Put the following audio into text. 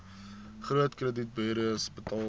groot kredietburos betaal